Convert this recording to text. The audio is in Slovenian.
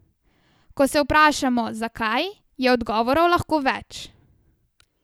Ko se vprašamo, zakaj, je odgovorov lahko več.